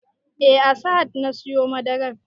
Eh a sahad na siyo madarar